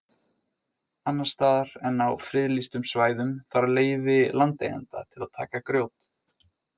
Annars staðar en á friðlýstum svæðum þarf leyfi landeigenda til að taka grjót.